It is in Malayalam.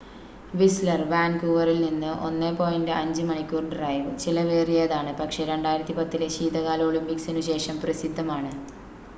വിസ്ലർ വാൻകൂവറിൽ നിന്ന് 1.5 മണിക്കൂർ ഡ്രൈവ് ചിലവേറിയതാണ് പക്ഷേ 2010-ലെ ശീതകാല ഒളിമ്പിക്‌സിനു ശേഷം പ്രസിദ്ധമാണ്